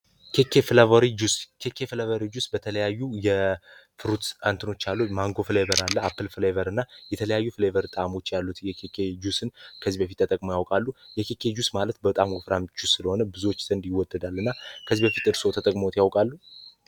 ኬኬ ፍለቨሪ ጁስ ኬኬ ፍለቨሪ ጁስ በተለያዩ የፍሩት አንትኖች አለ። ማንጎ ፍሌበር አለ አፕል ፍሌቨር እና የተለያዩ ፍሌቨር ጣሞች ያሉት የኬኬ ጁስን ከዚህ በፊት ተጠቅሞ ያውቃሉ? የኬኬ ጁስ ማለት በጣም ወፍራምጁስ ስለሆነ ብዙዎች ዘንድ ይወደዳል እና ከዚህ በፊት እርሰው ተጠቅሞዎት ያውቃሉ?